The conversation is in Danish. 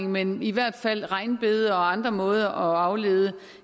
men i hvert fald er regnbede og andre måder at aflede